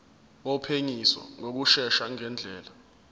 wophenyisiso ngokushesha ngendlela